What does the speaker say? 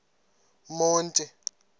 monti